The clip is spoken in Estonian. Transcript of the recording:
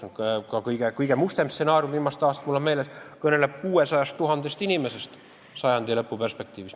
Viimaste aastate kõige mustem stsenaarium, mul on meeles, kõneleb 600 000 inimesest sajandilõpu perspektiivis.